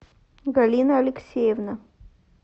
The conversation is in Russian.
галина алексеевна